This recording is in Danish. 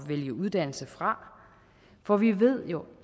vælge uddannelse fra for vi ved jo